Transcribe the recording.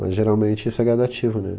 Mas geralmente isso é gradativo, né?